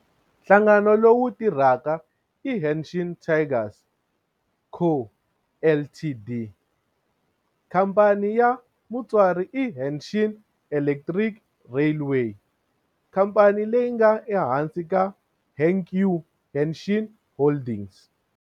Nhlangano lowu tirhaka i Hanshin Tigers Co., Ltd. Khamphani ya mutswari i Hanshin Electric Railway, khamphani leyi nga ehansi ka Hankyu Hanshin Holdings.